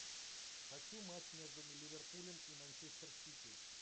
хочу матч между ливерпулем и манчестер сити